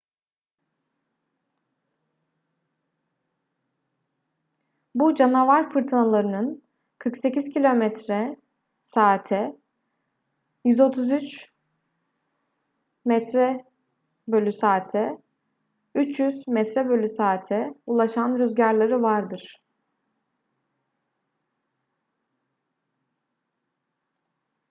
bu canavar fırtınalarının 480 km/saate 133m/s;300m/s ulaşan rüzgarları vardır